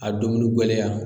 A domini gɛlɛya